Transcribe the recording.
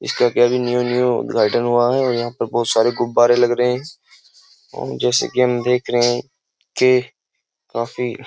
इसका क्या भी न्यू न्यू उद्घाटन हुआ है और यहां पर बहुत सारे गुब्बारे लग रहे हैं और जैसे कि हम देख रहे हैं कि काफी --